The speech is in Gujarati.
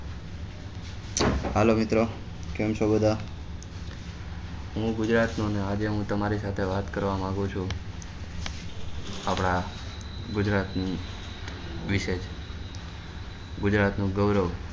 હાલો મિત્રો કેમ છો બધા હું ગુજરાત નો ને આજે હું તમારી સાથે વાત કરવા માંગું ચુ આપડા ગુજરાતી વિષય ગુજરાત નું ગૌરવ